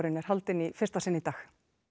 er haldinn í fyrsta sinn í dag